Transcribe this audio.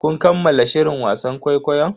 Kun kammala shirin wasan kwaikwayon?